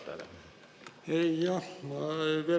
Küsimus istungi juhatajale.